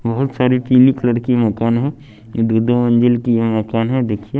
बहुत सारी पीली कलर की मकान हैं ये दो दो मंजिल की ये मकान है देखिए --